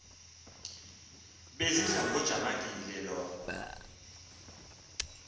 bezidla ngojamangile loo